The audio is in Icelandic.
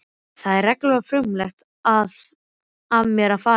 Það var reglulega frumlegt af mér að fara hingað.